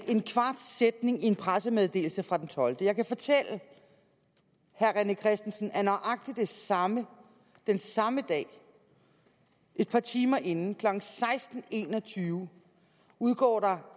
en kvart sætning i en pressemeddelelse fra den tolvte februar jeg kan fortælle herre rené christensen at nøjagtig den samme den samme dag et par timer inden klokken seksten en og tyve udgår der